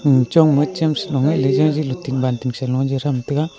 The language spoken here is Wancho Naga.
chong ma chem sa low nga jaji low banting sa low a che tham tega.